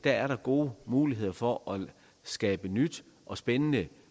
er der gode muligheder for at skabe et nyt og spændende